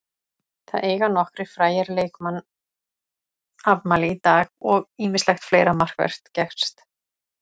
Það eiga nokkrir frægir leikmann afmæli í dag og ýmislegt fleira markvert gerst.